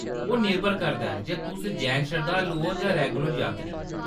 ओह्‌‌ निर्भर करदा ऐ जे तुस जैन शरधालू ओ जां रेगुलर यात्री।